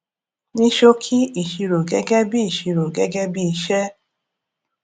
ní ṣòkì ìṣirò gégé bí ìṣirò gégé bí iṣé